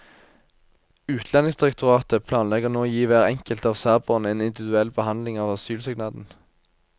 Utlendingsdirektoratet planlegger nå å gi hver enkelt av serberne en individuell behandling av asylsøknaden.